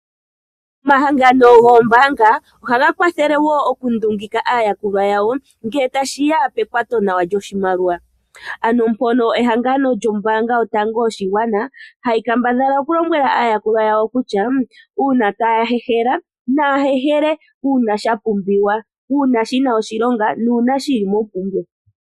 Omahangano goombaanga ohaga kwathele wo okundungika aayakulwa yawo ngele tashiya pekwato nawa lyoshimaliwa, ano mpono ehangano lyombaanga yotango yoshigwana hayi kambadhala okulombwela aayakulwa yawo kutya uuna taya helele naya hehele uuna shapumbiwa sho oshina shilonga.